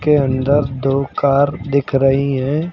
के अंदर दो कार दिख रही है।